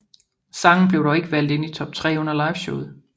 Sangen blev dog ikke valgt ind i top 3 under liveshowet